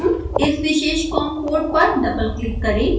उस विशेष com port पर डबल क्लिक करें